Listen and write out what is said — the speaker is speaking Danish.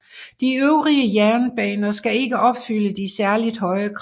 De øvrige jernbaner skal ikke opfylde de særligt høje krav